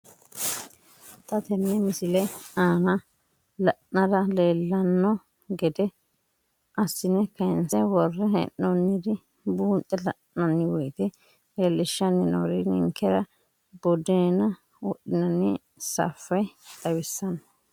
Xa tenne missile aana la'nara leellanno gede assine kayiinse worre hee'noonniri buunxe la'nanni woyiite leellishshanni noori ninkera buddeena wodhinanni saffe xawissanno.